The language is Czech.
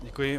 Děkuji.